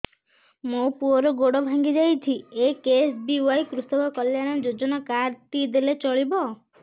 ମୋ ପୁଅର ଗୋଡ଼ ଭାଙ୍ଗି ଯାଇଛି ଏ କେ.ଏସ୍.ବି.ୱାଇ କୃଷକ କଲ୍ୟାଣ ଯୋଜନା କାର୍ଡ ଟି ଦେଲେ ଚଳିବ